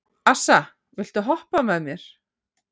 Assa, viltu hoppa með mér?